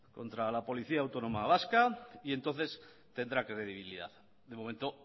contra la policía autónoma vasca y entonces tendrá credibilidad de momento